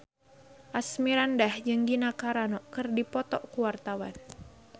Asmirandah jeung Gina Carano keur dipoto ku wartawan